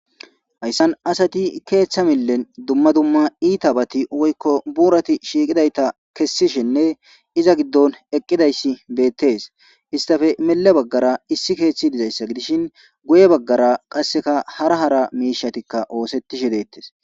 Hayssan asati keeththa millen dumma dumma iita bati woykko buurati shiiqidayta kessishinne iza giddon eqqidayssi beettes istafe mile baggara issi keeththi dizayssa gidishin guye baggara qasseka hara hara miishatikka oosettishshe deettes